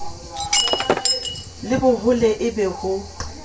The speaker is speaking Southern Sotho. le bohole e be ho